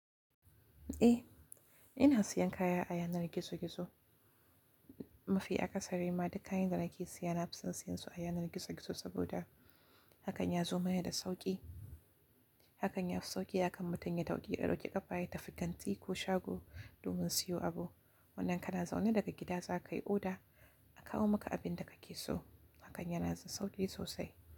Eh, ina siyan kaya a yanar gizo-gizo. Mafi akasari ma duk kayan da nake siya na fison siyan su a yanar gizo-gizo saboda hakan ya zo maye da sauƙi. Hakan ya fi sauƙi, akan mutum ya tauƙi, ɗauki ƙafa yatafi kanti ko shago domin siyo abu. Wannan kana zaune daga gida za ka yi oda a kawo maka abin da kake so. Hakan yana da sauƙi sosai.